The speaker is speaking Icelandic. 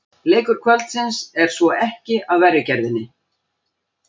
Leikur kvöldsins er svo ekki af verri gerðinni!